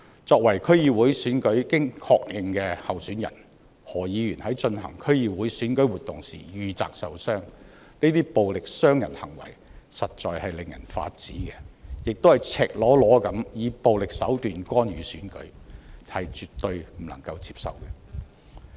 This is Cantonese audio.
作為經確認的區議會選舉候選人，何議員在進行區議會選舉活動時遇襲受傷，這些暴力傷人行為實在令人髮指，亦是以赤裸裸的以暴力手段干預選舉，絕對不能接受。